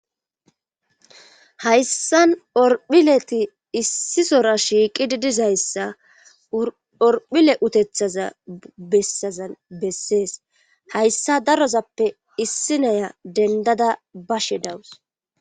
hayssan orphileti issi sora shiiqidi dizayssa orphile utethaza bessazan bessees hayssa darozappe issi naya dendada bashe dawus